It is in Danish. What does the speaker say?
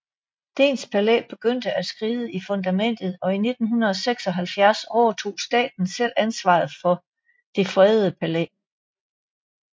Dehns Palæ begyndte at skride i fundamentet og i 1976 overtog staten selv ansvaret for det fredede palæ